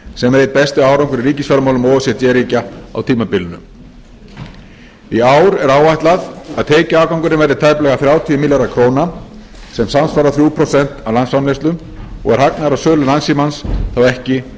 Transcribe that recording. sem er einn besti árangur í ríkisfjármálum o e c d ríkja á tímabilinu í ár er áætlað að tekjuafgangurinn verði tæplega þrjátíu milljarðar króna sem samsvarar þrjú prósent af landsframleiðslu og er hagnaður af sölu landssímans þá ekki